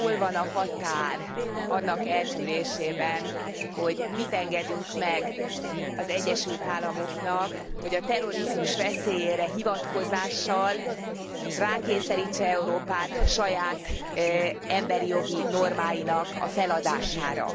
Hol van a határ annak eltűrésében, hogy mit engedünk meg az Egyesült Államoknak, hogy a terrorizmus veszélyére hivatkozással rákényszerítse Európát saját emberi jogi normáinak a feladására?